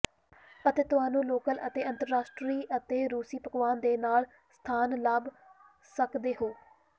ਅਤੇ ਤੁਹਾਨੂੰ ਲੋਕਲ ਅਤੇ ਅੰਤਰਰਾਸ਼ਟਰੀ ਅਤੇ ਰੂਸੀ ਪਕਵਾਨ ਦੇ ਨਾਲ ਸਥਾਨ ਲੱਭ ਸਕਦੇ ਹੋ